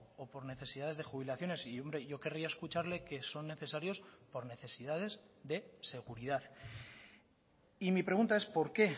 o por necesidades de jubilaciones y hombre yo querría escucharle que son necesarios por necesidades de seguridad y mi pregunta es por qué